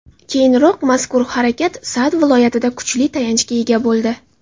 Keyinroq mazkur harakat Sa’d viloyatida kuchli tayanchga ega bo‘ldi.